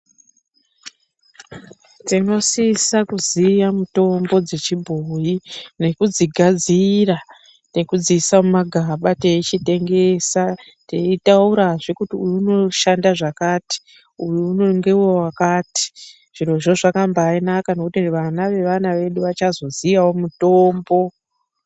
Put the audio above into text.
Tinosisa kuziya mitombo dzechibhoyi nekudzigadzira nekudziisa mumagaba teitengesa teiraurazve kuti uyu unoshanda zvakati uyuwo ngewewakati zvirozvo zvakabanaka kwemene ngekuti vana vevana vedu vachazoziyawo mutombo.